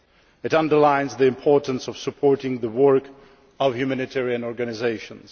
It underlines the importance of supporting the work of humanitarian organisations.